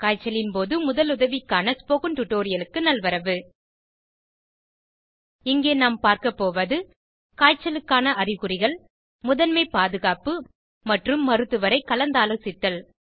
காய்ச்சலின் போது முதலுதவிக்கான ஸ்போகன் டுடோரியலுக்கு நல்வரவு இங்கே நாம் பார்க்கப்போவது காய்ச்சலுக்கான அறிகுறிகள் முதன்மை பாதுகாப்பு மற்றும் மருத்துவரை கலந்தாலோசித்தல்